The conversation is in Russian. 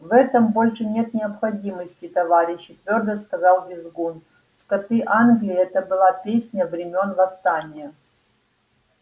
в этом больше нет необходимости товарищи твёрдо сказал визгун скоты англии это была песня времён восстания